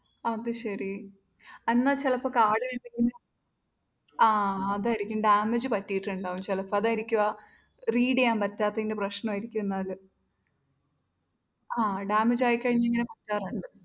അതുശരി എന്നാ ചിലപ്പോ കാർഡിൽ എന്തെങ്കിലും ആ അതായിരിക്കും damage പറ്റിയിട്ടുണ്ടാവും ചിലപ്പോ അതായിരിക്കും ആഹ് read ചെയ്യാൻ പറ്റാത്തതിൻ്റെ പ്രശ്നമായിരിക്കുമെന്നാൽ ആ damage ആയിക്കഴിഞ്ഞാൽ ഇങ്ങനെ പറ്റാറുണ്ട്